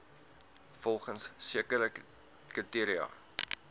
volgens sekere kriteria